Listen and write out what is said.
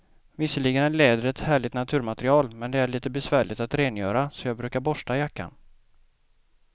Visserligen är läder ett härligt naturmaterial, men det är lite besvärligt att rengöra, så jag brukar borsta jackan.